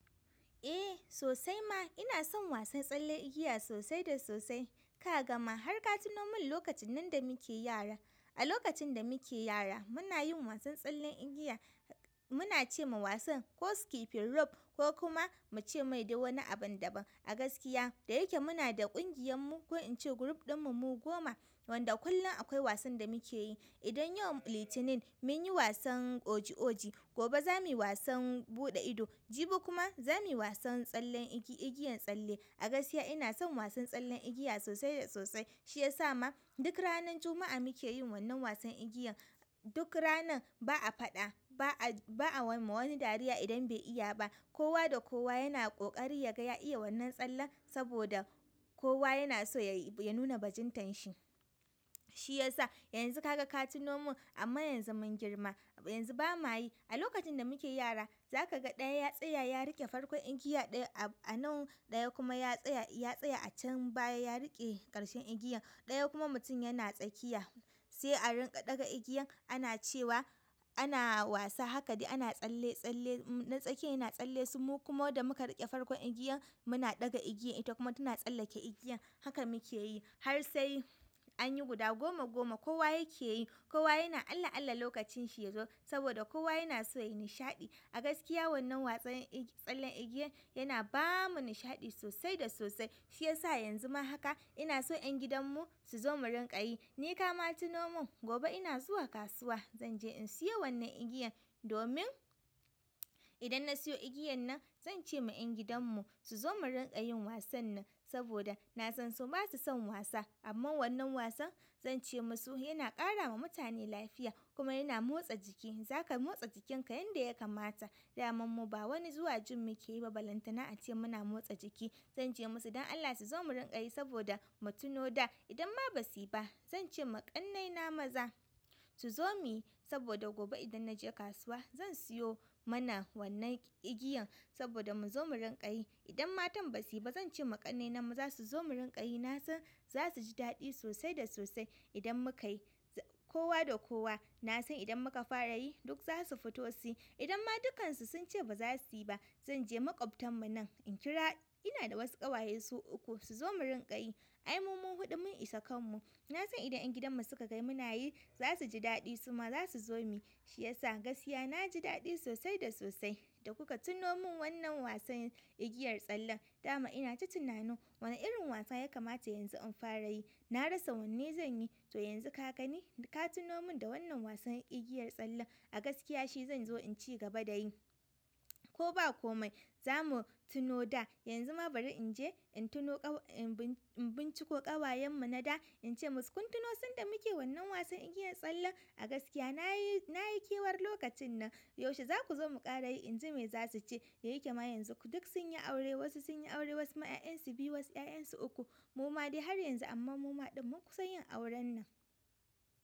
Eh sosai ma ina son wasan tsallen igiya sosai da sosai. Ka ga ma har ka tuno min lokacin nan da muke yara. A lokacin da muke yara muna yin wasan tsallen igiya muna ce ma wasan ko skipping rope ko kuma mu ce mai dai wani abin daban. A gaskiya da yake muna da kungiyarmu ko kuma in ce group ɗinmu wanda kullum akwai wasan da muke yi idan yau Litinin mun yi wasan oji oji, gobe za mu yi wasan buɗe ido, jibi kuma za mu yi wasan tsallen igiyan tsalle. A gaskiya ina son wasan tsallen igiya sosai da sosai. Shi ya sa ma duk ranar Juma'a muke yin wannan wasan igiyan. Duk ranan ba a faɗa ba a wama wani dariya idan bai iya ba. Kowa da kowa yana ƙoƙari ya ga ya iya wannan tsallen saboda kowa yana so ya nuna bajintar shi. Shi ya sa yanzu ka ga ka tuno mun amma yanzu mun girma. Yanzu ba ma yi. A lokacin da muke yara za ka ga ɗaya ya tsaya ya riƙe farkon igiya ɗaya a nan ɗaya kuma ya tsaya a can baya ya riƙe ƙarshen igiyan ɗaya kuma mutum yana tsakiya. Sai a riƙa ɗaga igiyan ana cewa ana wasa haka dai ana tsalle. Na tsakiyin yana tsalle su mu kuma da muka riƙe farkon igiyan muna ɗaga igiyan ita kuma tana tsallake igiyan. Haka muke yi har sai an yi guda goma goma kowa yake yi. Kowa yana alla alla lokacin shi ya zo saboda kowa yana so ya yi nishaɗi. A gaskiya wannan wasan tsallen igiyan yana ba mu nishaɗi sosai da sosai. Shi ya sa yanzu ma haka ina so ƴan gidanmu su zo mu rinƙa yi. Ni ka ma tuno mun gobe ina zuwa kasuwa zan je in siyo wannan igiyan domin idan na siyo igiyan nan zan ce ma ƴan gidan mu su zo mu rinƙa yin wasan nan saboda na san su ba su son wasa. Amma wannan wasan zan ce masu yana ƙara wa mutane lafiya kuma yana motsa jiki. Za ka motsa jikinka yanda ya kamata. Daman mu ba wani zuwa gym muke yi ba balantana a ce muna motsa jiki. Zan ce masu don Allah su zo mu rinƙa yi saboda mu tuno da idan ma ba su yi ba zan ce ma ƙannaina maza su zo mi saboda gobe idan na je kasuwa zan siyo mana wannan igiyan saboda mu zo mu rinƙa yi. Idan matan basu yi ba zan ce ma ƙannena maza su zo mu rinƙa yi na san za su ji daɗi sosai da sosai idan muka yi. Kowa da kowa na san idan muka fara yi duk za su fito su yi. Idan ma dukansu sun ce baza su yi ba zan je maƙwabtanmu nan in kira, ina da wasu ƙawaye su uku su zo mu rinƙa yi. Ai mu mu huɗu mun isa kanmu. Na san idan ƴan gidanmu su ka ga muna yi za su ji daɗi su ma za su zo mi. Shi ya sa gaskiya na ji daɗi sosai da sosai da kuka tuno mun wannan wasan igiyar tsalle. Dama ina ta tunani wane irin wasa ya kamata yanzu in fara yi. Na rasa wanne zan yi, to yanzu ka gani ka tino mun da wannan wasan igiyar tsallen. A gaskiya shi zan zo in ci gaba da yi. Ko ba kome za mu tuno da. Yanzu ma bari in je in tino, in binciko kawayenmu na da in ce musu kun tuna sanda muke wannan wasan igiyar tsallen. A gaskiya na yi kewar lokacin nan. Yaushe za ku zo mu ƙara yi? In ji me za su ce. Da yake ma yanzu duk sun yi aure. Wasu sun yi aure wasu ma 'ya'yan su biyu wasu 'ya'yan su uku. Mu ma dai har yanzu amma mu ma ɗin mun kusa yin auren nan.